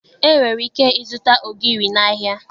E nwere ike ịzụta ogiri n'ahịa